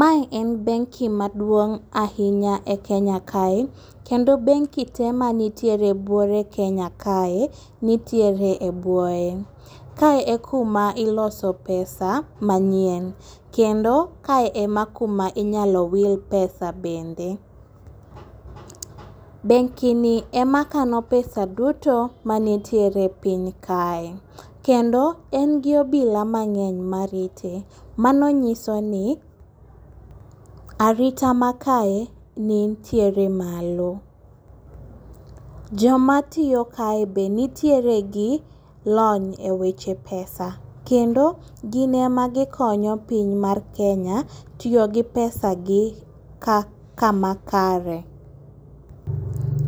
Mae en benki maduong' ahinya e Kenya kae. Kendo benki te mantiere e buore Kenya kae, nitiere e bwoye. Kae e kuma iloso e pesa manyien. Kendo ka e ma kuma inyalo wil pesa bende. Benkini ema kano pesa duto manitiere e piny kae kendo en gi obila mang'eny marite. Mano nyiso ni, arita makae nitiere malo. Joma tiyo kae be nitiere gi lony e weche pesa kendo gin eme gikonyo piny mar Kenya tiyo gi pesa gi ka, kamakare.